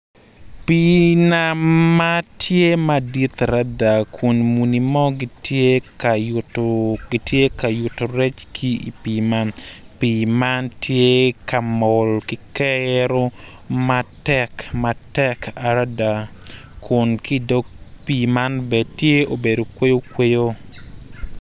Pii nam ma lutini dok lutini man gitye ka ngwec kun gitye madwong adada kun gin weng gitye ma oruko bongo mapafipadi dok kalane tye patpat kungin tye ka ngwec i yo gudo ma otal adada pii man bene tye obedo kweyo kweyo.